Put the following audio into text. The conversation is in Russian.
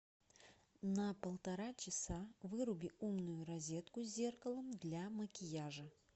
на полтора часа выруби умную розетку с зеркалом для макияжа